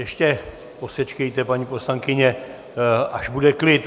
Ještě posečkejte, paní poslankyně, až bude klid.